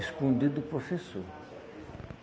Escondido do professor.